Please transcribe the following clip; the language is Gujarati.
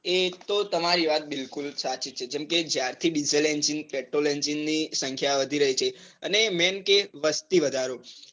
એ તો તમારી વાત બિલકુલ સાચી છે. જેમકે જ્યારે થી diesel engine, petrol, engine ની સંખ્યા વધી રહી છે. અને main કે વસ્તીવધારો